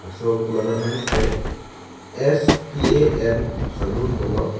so kulat amen ke spa and salon pulo.